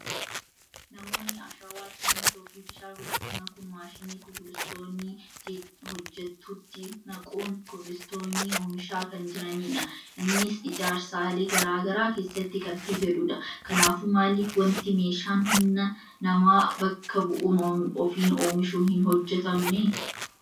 Namoonni ashawaa, simmintoo fi bishaan walitti makuun maashina kubulstoonii hojjetutti naquun kubilistoonii oomishaa kan jiranidha. innis ijaarsalee garagaraa keessatti kan fayyadudha. Kanaafuu maalif wanti meeshaan humna namaa bakka bu'uun ofiin oomishu hin hojjetamne?